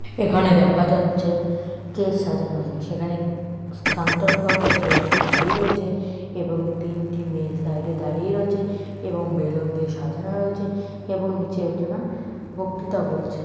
এখানে দেখা যাচ্ছে স্টেজ সাজানো আছে সেখানে সান্টার কজ সেজে একজন দাঁড়িয়ে রয়েছে এবং তিনটি মেয়ে সাইডে দাঁড়িয়ে রয়েছে এবং বেলুন দিয়ে সাজানো রয়েছে এবং নিচে একজনা বক্তৃতা বলছে।